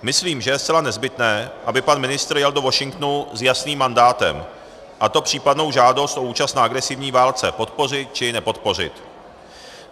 Myslím, že je zcela nezbytné, aby pan ministr jel do Washingtonu s jasným mandátem, a to případnou žádost o účast na agresivní válce podpořit, či nepodpořit.